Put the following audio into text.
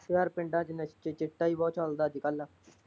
ਯਾਰ ਪਿੰਡਾਂ ਚ ਇੱਕ ਤੇ ਚਿੱਟਾ ਹੀ ਬਹੁਤ ਚੱਲਦਾ ਅੱਜਕੱਲ।